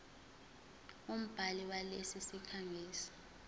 umbhali walesi sikhangisi